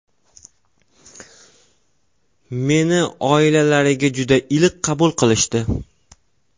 Meni oilalariga juda iliq qabul qilishdi.